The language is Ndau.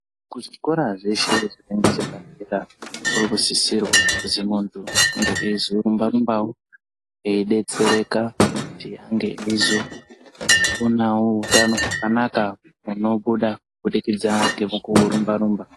Kuzvikora zveshe zvechepadera munosisirwa kuti muntu unge weizorumba rumbawo eidetsereka kuti ange eizoonawo muhutano hwakanaka kubudikidza ngekurumba rumba.